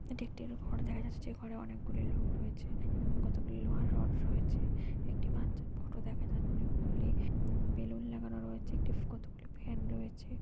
এটি একটি ঘর দেখা যাচ্ছে যে ঘরে অনেকগুলি লোক রয়েছে এবং কতগুলি লোহার রড রয়েছে। একটি বাচ্চার ফটো দেখা যা অনেকগুলি উম বেলুন লাগানো রয়েছে একটি কতগুলি ফ্যান রয়েছে।